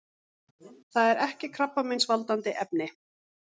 Það er ekki krabbameinsvaldandi efni.